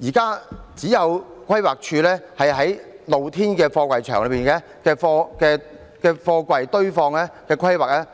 現時只有規劃署有就露天貨櫃場內的貨櫃堆放規劃